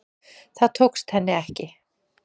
Það tókst henni ekki